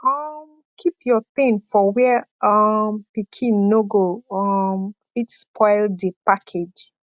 um keep your thing for where um pikin no go um fit spoil di package